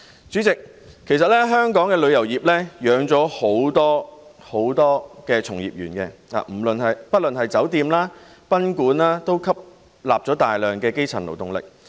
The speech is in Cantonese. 主席，其實香港旅遊業養活了很多從業員，不論是酒店或賓館，均吸納了大量基層勞動力。